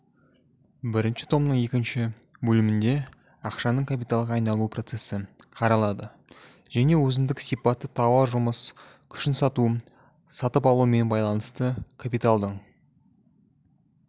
бірінші томның екінші бөлімінде ақшаның капиталға айналу процесі қаралады және өзіндік сипатты тауар жұмыс күшінсату сатып-алумен байланысты капиталдың